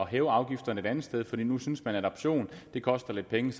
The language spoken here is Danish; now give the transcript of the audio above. hæve afgifterne et andet sted fordi man synes når adoption koster lidt penge